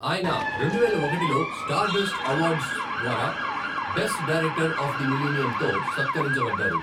ఆయన రెండువేల ఒకటిలో స్టార్డస్ట్ అవార్డ్స్ ద్వారా 'బెస్ట్ డైరెక్టర్ ఆఫ్ ద మిలీనియం'తో సత్కరించబడ్డారు.